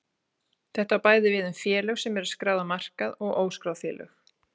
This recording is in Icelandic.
Þetta á bæði við um félög sem eru skráð á markaði og óskráð félög.